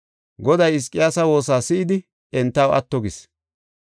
Goday Hizqiyaasa woosa si7idi entaw atto gis.